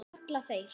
kalla þeir.